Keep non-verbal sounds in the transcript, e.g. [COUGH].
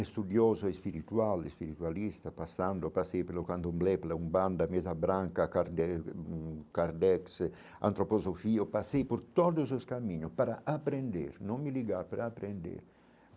Estudioso, espiritual, espiritualista, passando, passei pelo Candomblé, pela unbanda mesa branca, Kardex, [UNINTELLIGIBLE] Kardexe Antroposofia, passei por todos os caminhos para aprender, não me ligar para aprender.